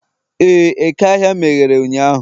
ee, eke ahịa meghere ụnyahụ